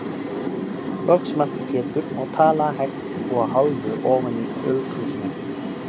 Loks mælti Pétur og talaði hægt og að hálfu ofan í ölkrúsina.